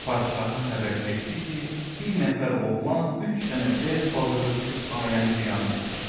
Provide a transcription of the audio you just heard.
Padişaha xəbər getdi ki, bir nəfər oğlan üç dənə dev bazara düşüb aləmi viran etdi.